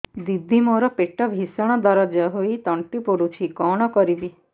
ଦିଦି ମୋର ପେଟ ଭୀଷଣ ଦରଜ ହୋଇ ତଣ୍ଟି ପୋଡୁଛି କଣ କରିବି